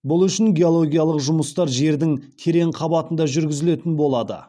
бұл үшін геологиялық жұмыстар жердің терең қабатында жүргізілетін болады